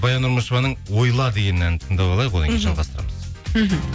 баян нұрмышеваның ойла деген әнін тыңдап алайық одан кейін жалғастырамыз мхм